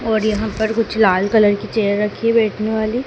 और यहां पर कुछ लाल कलर की चेयर रखी है बैठने वाली।